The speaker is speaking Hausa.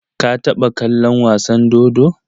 Ka taɓa kallon wasa dodo?